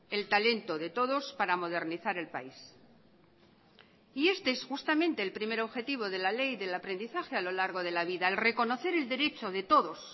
el talento de todos para modernizar el país y este es justamente el primer objetivo de la ley del aprendizaje a lo largo de la vida el reconocer el derecho de todos